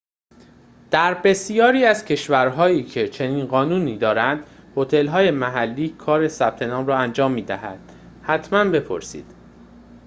در بسیاری از کشورهایی که چنین قانونی دارند، هتل‌های محلی کار ثبت نام را انجام می دهند حتما بپرسید